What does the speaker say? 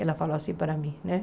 Ela falou assim para mim, né?